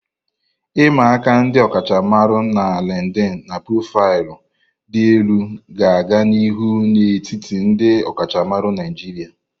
I'ma aka ndi okachamara na LinkedIn na profaịlụ dị elu ga-aga n'ihu n'etiti ndị ọkachamara Naijiria.